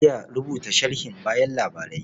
Zan iya rubuta sharhin bayan labarai.